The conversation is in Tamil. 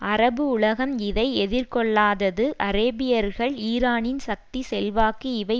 அரபு உலகம் இதை எதிர்கொள்ளாதது அரேபியர்கள் ஈரானின் சக்தி செல்வாக்கு இவை